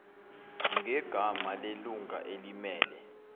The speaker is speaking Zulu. ngegama lelunga elimmele